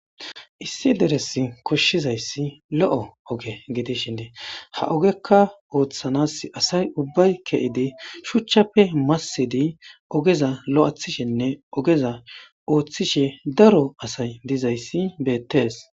Issi deres koshshizayssi lo'o oge gidishindee ha ogekka ooththanas asay ubbay ke'edi shuchchappe massedi ogeza lo'athishenne ogeza ooththishe daro asay dizayssi beettees.